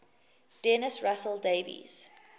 dennis russell davies